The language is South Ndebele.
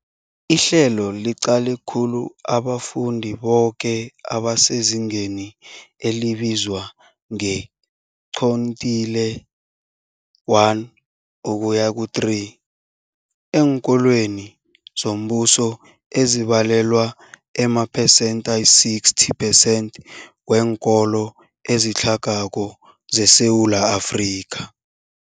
Ihlelo liqale khulu abafundi boke abasezingeni elibizwa nge-quintile 1-3 eenkolweni zombuso, ezibalelwa emaphesenthi ayi-60 percent weenkolo ezitlhagako zeSewula Afrika.